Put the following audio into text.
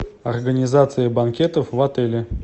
организация банкетов в отеле